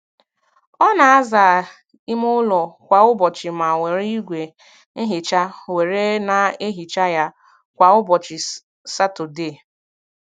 Ọ na-aza ime ụlọ kwa ụbọchị ma were igwe nhicha were na ehicha ya kwa ụbọchị Satọdee